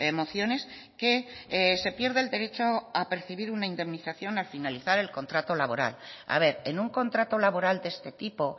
mociones que se pierde el derecho a percibir una indemnización al finalizar el contrato laboral a ver en un contrato laboral de este tipo